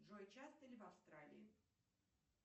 джой часто ли в австралии